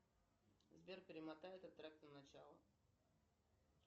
сбер перемотай этот трек на начало